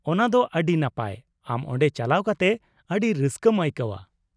ᱚᱱᱟ ᱫᱚ ᱟᱹᱰᱤ ᱱᱟᱯᱟᱭ; ᱟᱢ ᱚᱸᱰᱮ ᱪᱟᱞᱟᱣ ᱠᱟᱛᱮ ᱟᱹᱰᱤ ᱨᱟᱹᱥᱠᱟᱹᱢ ᱟᱹᱭᱠᱟᱹᱣᱼᱟ ᱾